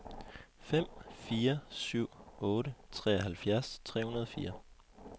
fem fire syv otte treoghalvfjerds tre hundrede og fire